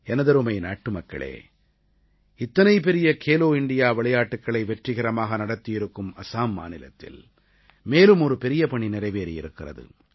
எனதருமை நாட்டுமக்களே இத்தனை பெரிய கேலோ இண்டியா விளையாட்டுக்களை வெற்றிகரமாக நடத்தி இருக்கும் அஸாம் மாநிலத்தில் மேலும் ஒரு பெரிய பணி நிறைவேறி இருக்கிறது